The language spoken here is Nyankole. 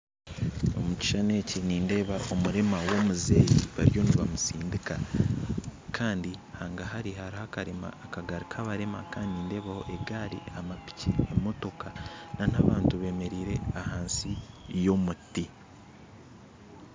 Omu kishuushani eki nindeeba omurema w'omuzeyi bariyo nibamutsindika kandi hagahari hariho akagari kabarema kandi nindeebaho egari n'amapiiki n'emotooka n'abantu bemereire ahansi y'omuti